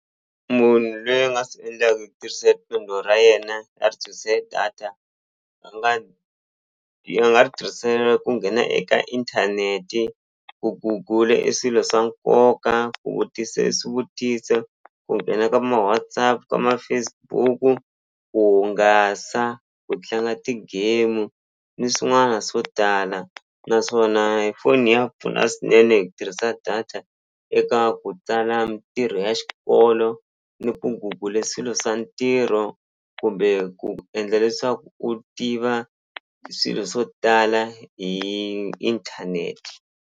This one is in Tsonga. Munhu loyi a nga swi endla hi ku tishisa riqhingho ra yena a ri data a nga a nga ri tirhisela ku nghena eka inthaneti ku gugula e swilo swa nkoka ku vutisa swivutise ku nghena ka ma-WhatsApp ka ma-Facebook ku hungasa ku tlanga ti-game ni swin'wana swo tala naswona foni ya pfuna swinene hi ku tirhisa data eka ku tsala mintirho ya xikolo ni ku gugule swilo swa ntirho kumbe ku endla leswaku u tiva swilo swo tala hi inthaneti.